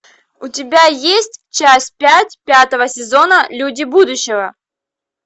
у тебя есть часть пять пятого сезона люди будущего